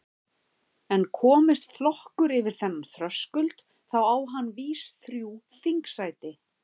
En komist flokkur yfir þennan þröskuld þá á hann vís þrjú þingsæti.